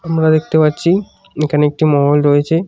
আমরা দেখতে পাচ্ছি এখানে একটি মহল রয়েছে।